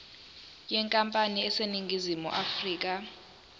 yenkampani eseningizimu afrika